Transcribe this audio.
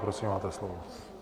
Prosím, máte slovo.